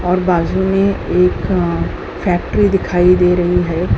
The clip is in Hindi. और बाजू में एक फैक्ट्री दिखाई दे रही है।